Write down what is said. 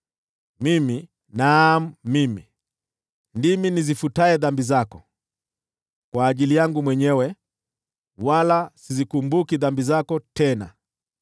“Mimi, naam mimi, ndimi nizifutaye dhambi zako, kwa ajili yangu mwenyewe, wala sizikumbuki dhambi zako tena.